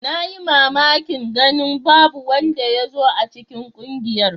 Na yi mamakin ganin babu wanda ya zo a cikin ƙungiyar.